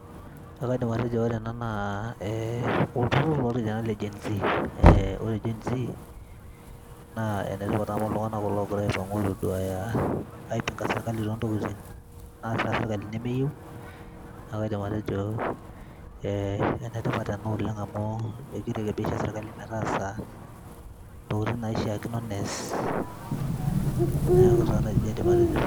ekaidim atejo ore ena naa eh, olturrur lorkijanani le gen z eh, ore gen z naa enetipat amu iltung'anak kulo ogira aipang'u aitoduaya, aipinga sirkali tontokitin naasita sirkali nemeyieu niaku kaidim atejo eh, enetipat ena oleng amu ekirekebisha sirkali metaasa intokitin naishiakino nees neeku taa nejia aidim atejo.